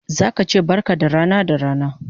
Zaka che barka da rana da rana